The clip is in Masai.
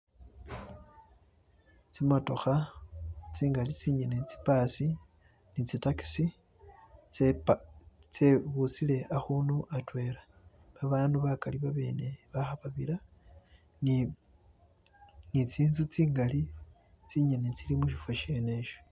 tsimotoha tsingali tsinyene tsipasi nitsi takisi tsepangile tsebusile ahundu atwela babandu bakali babene baha babila ni tsinzu tsingali tsinyene tsili mushifo shenesho